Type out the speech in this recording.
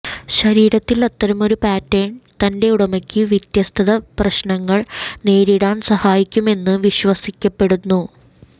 ശരീരത്തിൽ അത്തരമൊരു പാറ്റേൺ തൻറെ ഉടമയ്ക്ക് വ്യത്യസ്ത പ്രശ്നങ്ങൾ നേരിടാൻ സഹായിക്കുമെന്ന് വിശ്വസിക്കപ്പെടുന്നു